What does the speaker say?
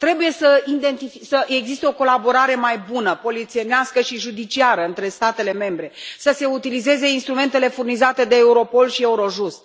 Trebuie să existe o colaborare mai bună, polițienească și judiciară, între statele membre, să se utilizeze instrumentele furnizate de Europol și Eurojust.